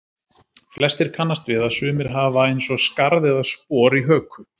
flestir kannast við að sumir hafa eins og skarð eða spor í höku